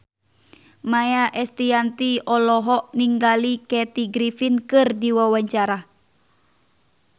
Maia Estianty olohok ningali Kathy Griffin keur diwawancara